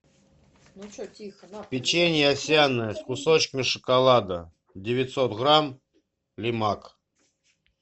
печенье овсяное с кусочками шоколада девятьсот грамм лимак